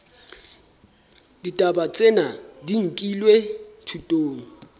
ditaba tsena di nkilwe thutong